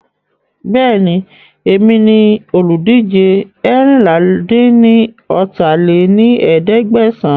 Bẹ́ẹ̀ni, èmi ni olùdíje eérinlá-dín-ní-ọ́ta lé ní ẹ̀ẹ́dẹ́gbẹ́sán